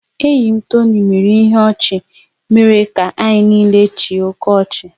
Enyi m Tony mere ihe ọchị mere ka anyị niile chịa oké ọchị.